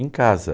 Em casa.